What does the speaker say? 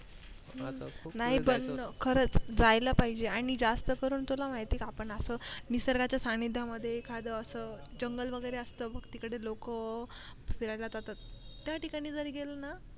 नाही पण खरच जायला पाहिजे आणि जास्त करून तुला माहित ये का आपण असं निसर्गाच्या सानिध्यां मध्ये एखाद असं जंगल वैगेरे असत बग तिकडे लोक फिरायला जातात त्या ठिकाणी जरी गेलं ना.